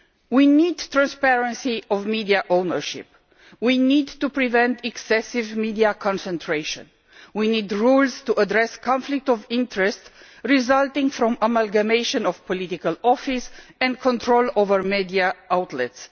We need transparency of media ownership, we need to prevent excessive media concentration and we need rules to address the conflicts of interest resulting from the amalgamation of political office and control over media outlets.